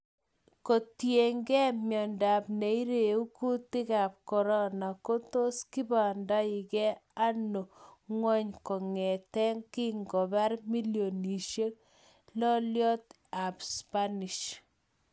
Kotiyengen miondo neiregu kutikab Corona ko tos kipangandage ano ngwony kongeten kingobar milionishek loliot ab Spanish